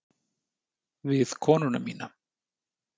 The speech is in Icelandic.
Við konu mína.